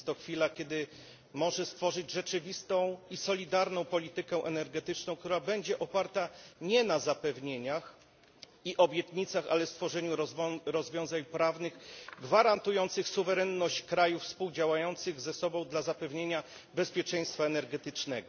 Jest to chwila, kiedy może ona stworzyć rzeczywistą i solidarną politykę energetyczną, która będzie oparta nie na zapewnieniach i obietnicach, ale na stworzeniu rozwiązań prawnych gwarantujących suwerenność krajów współdziałających ze sobą dla zapewnienia bezpieczeństwa energetycznego.